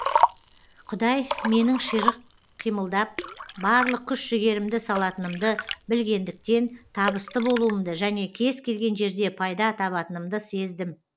құдай менің ширық қимылдап барлық күш жігерімді салатынымды білгендіктен табысты болуымды және кез келген жерде пайда табатынымды сездім